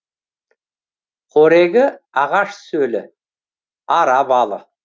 қорегі ағаш сөлі ара балы